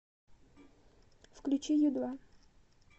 включи ю два